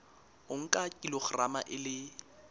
o nka kilograma e le